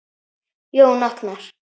Jón Agnar?